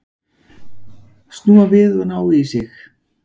Snúa við og ná í sig.